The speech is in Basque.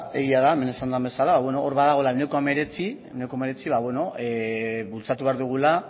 egia da hemen esan den bezala ba hor dagoela ehuneko hemeretzi ehuneko hemeretzi bultzatu behar dugula